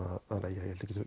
ég held ég